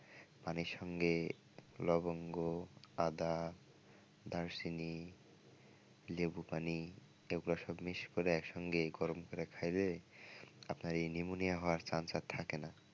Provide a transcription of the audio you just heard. পানির সঙ্গে লবঙ্গ আদা দারুচিনি লেবু পানি এগুলো সব mix করে একসঙ্গে গরম করে খাইলে আপনার এই pneumonia হওয়ার chance থাকে না।